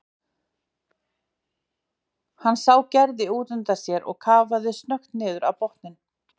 Hann sá Gerði útundan sér og kafaði snöggt niður á botninn.